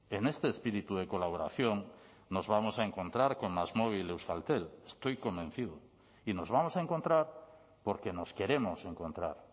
en este espíritu de colaboración nos vamos a encontrar con másmóvil euskaltel estoy convencido y nos vamos a encontrar porque nos queremos encontrar